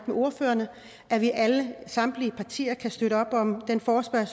med ordførerne og at vi alle samtlige partier kan støtte op om det forslag